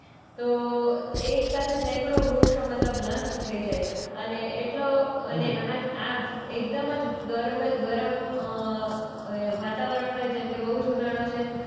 તો એકસાથે સેંકડો વૃક્ષો મતલબ નષ્ટ થઈ જાય અને એટલો અને હમ્મ આ આ એકદમ જ ગર્મ ગરમ અ એ વાતાવરણ હોય જેમકે બોઉ જ ઉનાળો છે